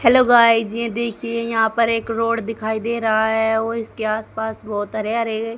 hello guys ये देखिए यहां पर एक रोड दिखाई दे रहा है वह इसके आसपास बहुत हरे हरे--